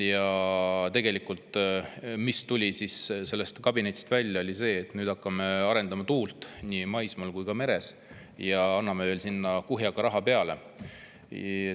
Aga tegelikult tuli sellest kabinetist välja see, et nüüd me hakkame arendama tuule nii maismaal kui ka merel ja anname veel sinna kuhjaga raha peale.